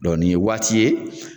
Dɔ nin ye waati ye.